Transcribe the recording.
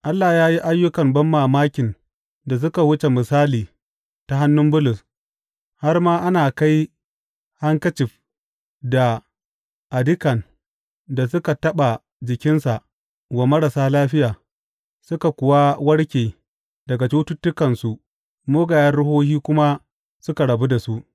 Allah ya yi ayyukan banmamakin da suka wuce misali ta hannu Bulus, har ma ana kai hankicif da adikan da suka taɓa jikinsa wa marasa lafiya, suka kuwa warke daga cututtukansu mugayen ruhohi kuma suka rabu da su.